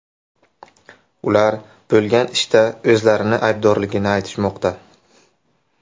Ular bo‘lgan ishda o‘zlarini aybdorligini aytishmoqda.